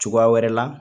Cogoya wɛrɛ la